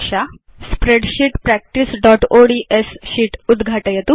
spreadsheet practiceओड्स् sheet उद्घाटयतु